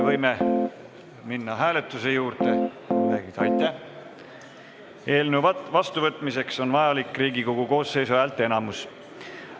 Eelnõu vastuvõtmiseks on vajalik Riigikogu koosseisu häälteenamus.